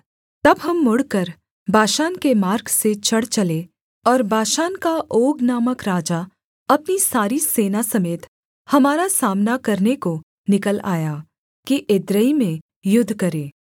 तब हम मुड़कर बाशान के मार्ग से चढ़ चले और बाशान का ओग नामक राजा अपनी सारी सेना समेत हमारा सामना करने को निकल आया कि एद्रेई में युद्ध करे